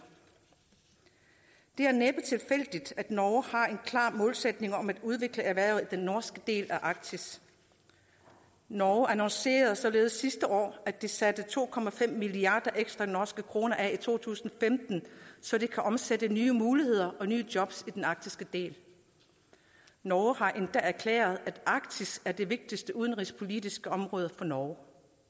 det er næppe tilfældigt at norge har en klar målsætning om at udvikle erhvervet i den norske del af arktis norge annoncerede således sidste år at de satte to milliarder norske kroner ekstra af i to tusind og femten så de kan omsættes til nye muligheder og nye jobs i den arktiske del norge har endda erklæret at arktis er det vigtigste udenrigspolitiske område for norge